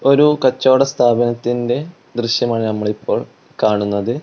ഒരു കച്ചോട സ്ഥാപനത്തിന്റെ ദൃശ്യമാണ് നമ്മളിപ്പോൾ കാണുന്നത്.